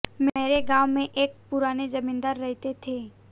मेरे गांव में एक पुराने जमींदार रहते थे